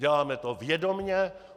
Děláme to vědomě.